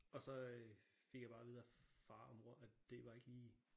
Og så fik jeg bare at vide af far og mor at det var ikke lige